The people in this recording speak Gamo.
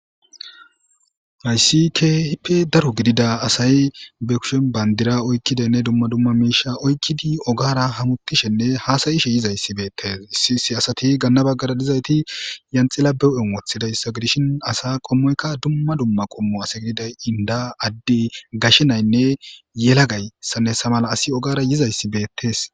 Hayssi kehipe daro gidida asay be kushen bandira oykkidanne dumma dumma miisha oykkidi ogara hamutishenne haasayishe yizayssi beettes issi issi asati gaanna baggara dizayti yanxila beu7en wothidayssa gidishin asa qommoykka dumma dumma qommu asa gididay inda adde gashenaynne yela gayssanne sa mala asi ogara yizayssi beettees